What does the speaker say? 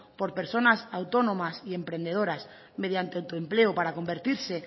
por personas autónomas y emprendedoras mediante autoempleo para convertirse